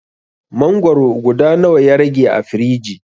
Mangwaro guda nawa ya rage a firiji?